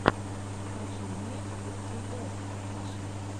покажи мне эф пи эс раша